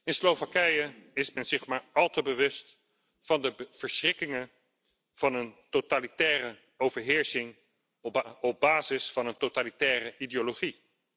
In Slowakije is men zich maar al te bewust van de verschrikkingen van een totalitaire overheersing op basis van een totalitaire ideologie.